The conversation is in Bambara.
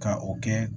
Ka o kɛ